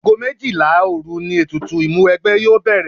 Ago méjìlá òru ni ètùtù Ìmúwẹgbẹ́ yóò bẹ̀rẹ̀